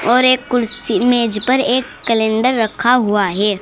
और एक कुर्सी मेज पर एक कैलेंडर रखा हुआ है।